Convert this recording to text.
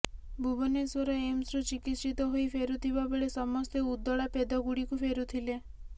ଭୁବନେଶ୍ୱର ଏମ୍ସରୁ ଚିକିତ୍ସିତ ହୋଇ ଫେରୁଥିବା ବେଳେ ସମସ୍ତେ ଉଦଳା ପେଦଗଡ଼ିକୁ ଫେରୁଥିଲେ